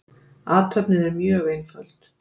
Athöfnin er mjög einföld.